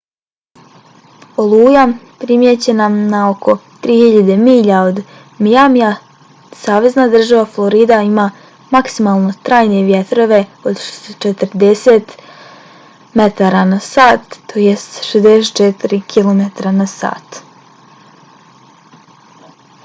oluja primijećena na oko 3000 milja od miamija savezna država florida ima maksimalno trajne vjetrove od 40 m/h 64 km/h